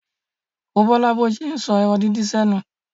Wo Bọ́lá bó ṣe ń sọ ẹran díndín sẹ́nu.